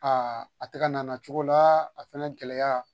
a tɛ kan'a na cogo la, a fɛnɛ gɛlɛya